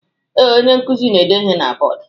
Ee, onye nkuzi na-ede ihe na bọdu.